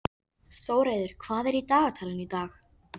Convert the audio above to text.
Þórheiður, hvað er í dagatalinu í dag?